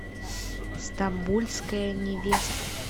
стамбульская невеста